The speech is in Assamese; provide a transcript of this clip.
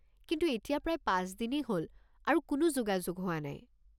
কিন্তু এতিয়া প্ৰায় পাঁচ দিনেই হ'ল আৰু কোনো যোগাযোগ হোৱা নাই।